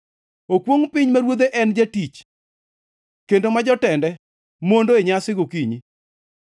Okwongʼ piny ma ruodhe ne en jatich kendo ma jotende mondo e nyasi gokinyi.